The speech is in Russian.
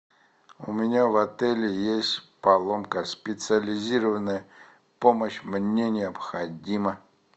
у меня в отеле есть поломка специализированная помощь мне необходима